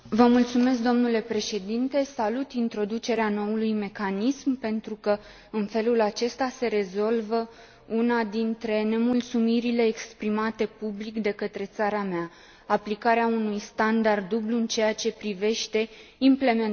Salut introducerea noului mecanism pentru că, în felul acesta, se rezolvă una dintre nemulțumirile exprimate public de către țara mea aplicarea unui standard dublu în ceea ce privește implementarea acquis ului Schengen.